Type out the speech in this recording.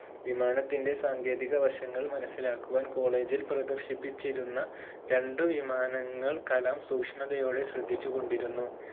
വിമാനത്തിന്റെ സാങ്കേതിക വശങ്ങൾ മനസിലാക്കുവാൻ college ൽ പ്രദർശിപ്പിച്ചിരുന്നു രണ്ടു വിമാനങ്ങൾ കലാം സൂക്ഷ്മതയോടെ ശ്രദ്ധിച്ചുകൊണ്ടിരുന്നു